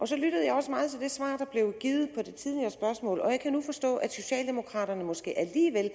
så lyttede jeg også meget til det svar der blev givet på det tidligere spørgsmål og jeg kan nu forstå at socialdemokraterne måske alligevel